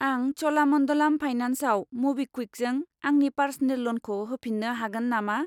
आं च'लामन्डलाम फाइनान्सआव मबिक्वुइकजों आंनि पार्स'नेल ल'नखौ होफिन्नो हागोन नामा?